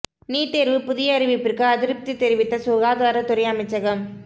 NEET தேர்வு புதிய அறிவிப்பிற்கு அதிருப்தி தெரிவித்த சுகாதாரத் துறை அமைச்சகம்